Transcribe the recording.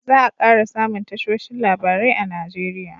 za a kara samun tashoshin labarai a nigeria